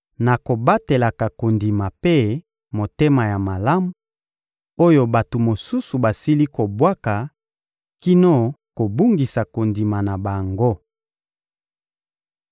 na kobatelaka kondima mpe motema ya malamu, oyo bato mosusu basili kobwaka kino kobungisa kondima na bango.